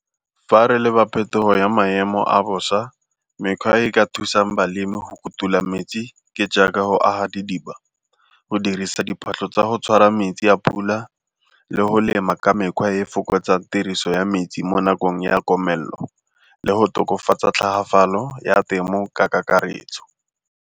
Fa re leba phetogo ya maemo a bosa mekgwa e ka thusang balemi go kutula metsi ke jaaka go aga didiba, go dirisa diphatlho tsa go tshwara metsi a pula le go lema ka mekgwa e e fokotsa tiriso ya metsi mo nakong ya komelelo le go tokafatsa tlhagafalo ya temo ka kakaretso.